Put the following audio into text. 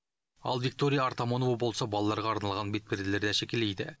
ал виктория артамонова болса балаларға арналған бетперделерді әшекейлейді